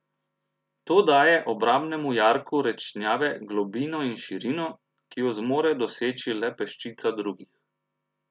To daje obrambnemu jarku Rečnjave globino in širino, ki jo zmore doseči le peščica drugih.